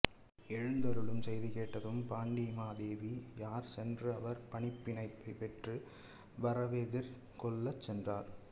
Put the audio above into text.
எழுந்தருளும் செய்தி கேட்டதும் பாண்டிமாதேவியார் சென்று அவர் பணிப்பினைப் பெற்று வரவெதிர்கொள்ளச் சென்றார்